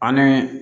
Ani